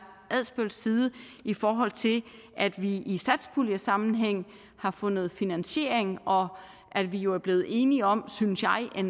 adsbøls side i forhold til at vi i satspuljesammenhæng har fundet finansiering og at vi jo er blevet enige om synes jeg